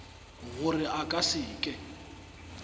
gore a ka se ke